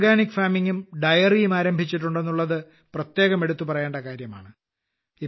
ഇവർ ജൈവ കൃഷിയും ഡയറിയും ആരംഭിച്ചിട്ടുണ്ട് എന്നുള്ളതും പ്രത്യേകം എടുത്തുപറയേണ്ട കാര്യമാണ്